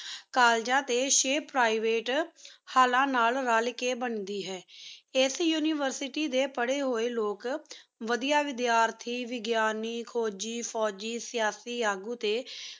college ਟੀ Private ਹਾਲਾ ਨਾਲ ਰਲ ਕੀ ਬੰਦੀ ਹੈਂ ਏਸ University ਡੀ ਪਰਯ ਹੂਯ ਲੋਗ ਵਾਦੇ ਵੇਦ੍ਯਾਰਤੀ ਵ੍ਦ੍ਯਾਨੀ ਫੋਜੀ ਫੋਜੀ ਸੇਹਾਸੀ ਲਘੁ ਟੀ